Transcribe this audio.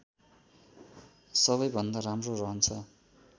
सबै भन्दा राम्रो रहन्छ